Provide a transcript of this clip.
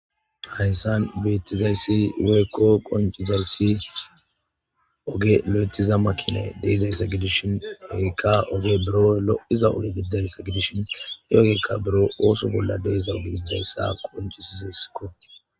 Hayssan beettizayssi weekko qonchizarsi oge lo'etiza makina deizaysa gedishin egekka oge buro lo'iza oge biddaysa gedishon yeogeekka buro ooso bolla deesa ogediidayssa qonchisizesko